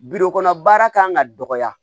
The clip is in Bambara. kɔnɔ baara kan ka dɔgɔya